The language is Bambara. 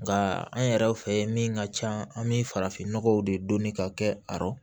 Nka an yɛrɛw fɛ min ka can an bi farafinnɔgɔw de don ka kɛ a rɔ